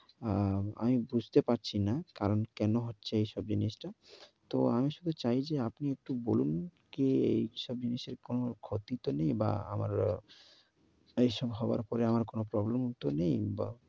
অ্যা, আমি বুঝতে পারছি না, কারণ কেনো হচ্ছে এইসব জিনিসটা। তো আমি শুধু চাই যে, আপনি একটু বলুন কি এইসব জিনিসের কোনো ক্ষতি তো নেই বা আমার এইসব হবার পরে আমার কোনো problem ও তো নেই। বা